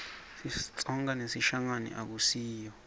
sitsonga nesishangane akusiyo